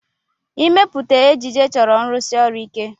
Ịmepụta ejiji chọrọ nrụsi ọrụ ike.